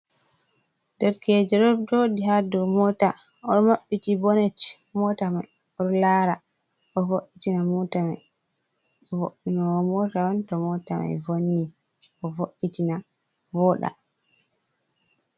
Derkejo ɗo jooɗi ha dou moota, o maɓɓiti bonet mota mai, o lara o vo'itina mota mai . Vo'inowo mota on to mota mai vonni, o vo’itina vooɗa.